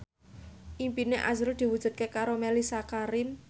impine azrul diwujudke karo Mellisa Karim